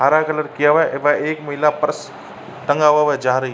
हरा कलर किया हुआ है व एक महिला पर्स टँगा हुआ वो जा रही --